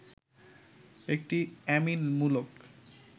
একটি অ্যামিন মূলক